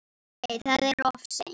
Nei, það er of seint.